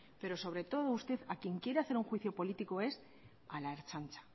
pero sobre todo usted a quien quiere hacer un juicio político es a la ertzaintza